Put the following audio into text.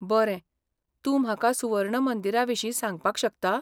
बरें, तूं म्हाका सुवर्ण मंदिराविशीं सांगपाक शकता?